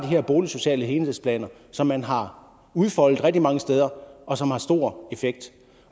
her boligsociale helhedsplaner som man har udfoldet rigtig mange steder og som har stor effekt